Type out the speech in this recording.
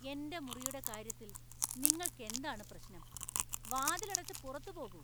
എന്‍റെ മുറിയുടെ കാര്യത്തിൽ നിങ്ങൾക്ക് എന്താണ് പ്രശ്നം? വാതിൽ അടച്ച് പുറത്ത് പോകൂ .